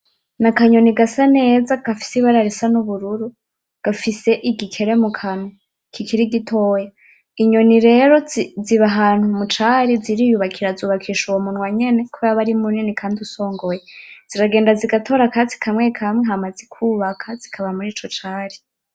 N'akanyoni gasa neza gafise ibara risa n'ubururu gafise igikere mu kanwa kikiri gitoya inyoni rero ziba ahantu mu cari ziriyubakira zubakisha uwo munwa nyene kubera aba ari munini kandi usongoye ziragenda zigatora akatsi kamwe kamwe hama zikubaka zikaba murico cari.